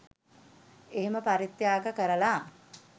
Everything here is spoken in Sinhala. එහෙම පරිත්‍යාග කරලා